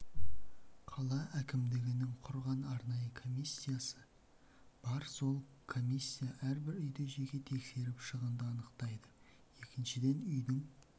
қала әкімдігінің құрған арнайы комиссиясы бар сол комиссия әрбір үйді жеке тексеріп шығынды анықтайды екіншіден үйдің